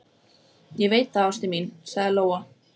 Ég veit það, ástin mín, sagði Lóa.